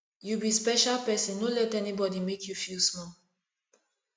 you be special person no let anybody make you feel small